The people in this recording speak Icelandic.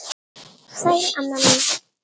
Sæl, amma mín.